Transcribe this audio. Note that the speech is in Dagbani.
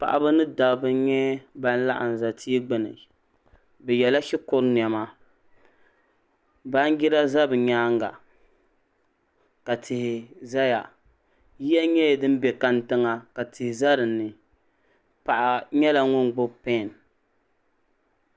Paɣa ba ni dabba nyɛ bini laɣim za tia gbuni bi yela shikuru nɛma banjira za bi yɛanga ka tihi zaya yiya nyɛla dini bɛ kantiŋa ka tihi za dinni paɣa nyɛla ŋuni gbubi pɛn.